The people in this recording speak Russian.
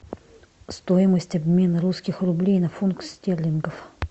стоимость обмена русских рублей на фунт стерлингов